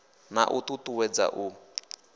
na u ṱu ṱuwedza u